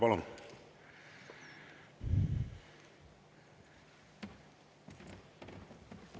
Palun!